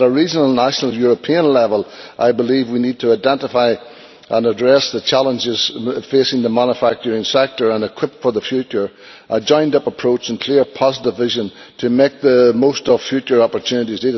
At regional, national and European level I believe we need to identify and address the challenges facing the manufacturing sector and equip for the future, with a joined up approach and a clear positive vision to make the most of future opportunities.